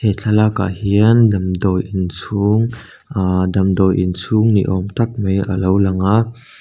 he thlalakah hian damdawi inchhung aaa damdawi inchhung niawm tak mai alo lang a--